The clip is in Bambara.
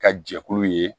Ka jɛkulu ye